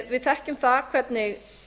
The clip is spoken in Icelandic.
við þekkjum það hvernig